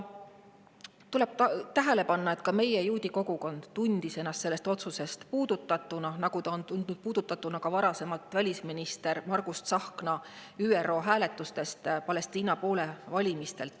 Tuleb tähele panna, et ka meie juudi kogukond on tundnud end sellest otsusest puudutatuna, nagu ta varasemalt on tundnud end puudutatuna sellest, et välisminister Margus Tsahkna ÜRO hääletustel Palestiina poole valis.